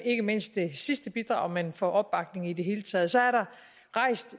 ikke mindst det sidste bidrag men også for opbakningen i det hele taget så er der